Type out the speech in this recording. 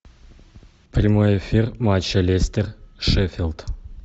прямой эфир матча лестер шеффилд